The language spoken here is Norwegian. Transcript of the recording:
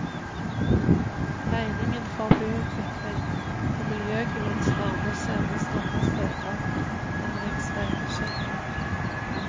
Regningen for byutvikling og miljøgevinster må sendes andre steder enn riksveibudsjettet.